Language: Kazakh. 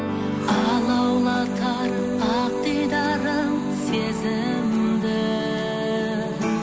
алаулатар ақ дидарың сезімді